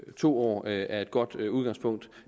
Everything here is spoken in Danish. to år er et godt udgangspunkt